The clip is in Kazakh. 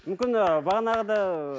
мүмкін ы бағанағыда